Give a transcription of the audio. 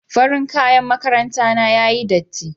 Farin kaƴan maƙaranta na yaƴi ɗatti.